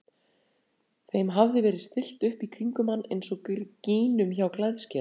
Þeim hafði verið stillt upp í kringum hann eins og gínum hjá klæðskera.